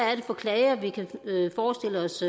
er det for klager vi kan forestille os